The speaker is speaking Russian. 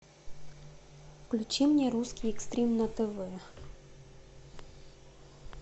включи мне русский экстрим на тв